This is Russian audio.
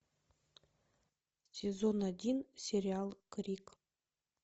сезон один сериал крик